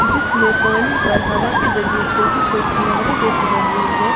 जीसमें पानी पर हवा के जरिए छोटी छोटी लहरें जैसी बन रही है।